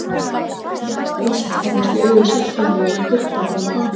Fatahengi og klósett horfast í augu sitt hvoru megin við dyrnar fram á ganginn.